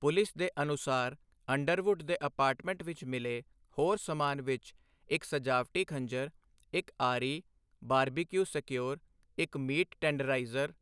police ਦੇ ਅਨੁਸਾਰ Underwood ਦੇ ਅਪਾਰਟਮੈਂਟ ਵਿੱਚ ਮਿਲੇ ਹੋਰ ਸਮਾਨ ਵਿੱਚ ਇੱਕ ਸਜਾਵਟੀ ਖੰਜਰ, ਇੱਕ ਆਰੀ, ਬਾਰਬਿਕਿਊ ਸਕਿਉਅਰ, ਇੱਕ ਮੀਟ ਟੈਂਡਰਾਈਜ਼ਰ